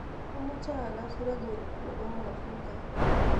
amoche agas regun nepo mwabuka